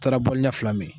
taara boɲɛ fila min